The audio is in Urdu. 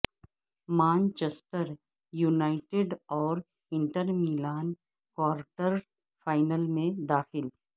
مانچسٹر یونائیٹڈاور انٹر میلان کوارٹر فائنل میں داخل